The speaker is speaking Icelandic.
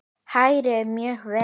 Hrærið mjög vel.